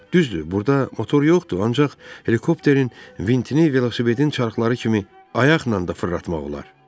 Düzdür, burda motor yoxdur, ancaq helikopterin vintini velosipedin çarxları kimi ayaqla da fırlatmaq olar.